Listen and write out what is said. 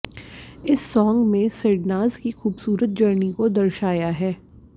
इस साॅन्ग में सिडनाज की खूबसूरत जर्नी को दर्शाया है